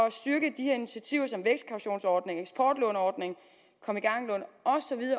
at styrke de her initiativer som vækstkautionsordningen eksportlåneordningen kom i gang lån